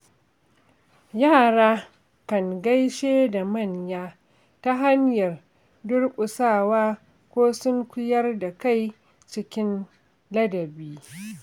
Yara kan gaishe da manya ta hanyar durƙusawa ko sunkuyar da kai cikin ladabi.